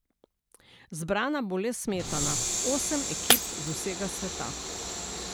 Zbrana bo le smetana, osem ekip z vsega sveta.